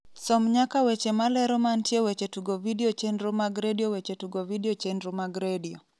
som nyaka weche malero mantie weche tugo vidio chenro mag redio weche tugo vidio chenro mag redio